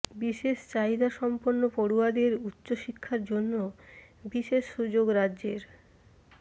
বিশেষ চাহিদা সম্পন্ন পড়ুয়াদের উচ্চশিক্ষার জন্য বিশেষ সুযোগ রাজ্যের